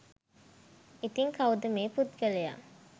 ඉතින් කවුද මේ පුද්ගලයා